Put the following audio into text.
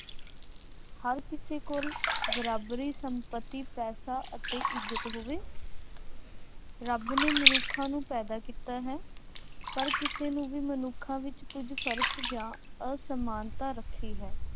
ਹਰ ਕਿਸੇ ਕੋਲ ਬਰਾਬਰੀ, ਸੰਪੱਤੀ, ਪੈਸਾ ਅਤੇ ਇੱਜ਼ਤ ਹੋਵੇ। ਰੱਬ ਨੇ ਮਨੁੱਖਾਂ ਨੂੰ ਪੈਦਾ ਕੀਤਾ ਹੈ। ਪਰ ਕਿਸੇ ਨੂੰ ਵੀ ਮਨੁੱਖਾਂ ਵਿੱਚ ਕੁੱਝ ਫਰਕ ਜਾਂ ਅਸਮਾਨਤਾ ਰੱਖੀ ਹੈ।